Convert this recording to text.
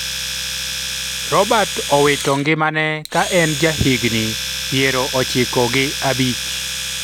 Robert owito ngimane ka en jahigni piero ochiko gi abich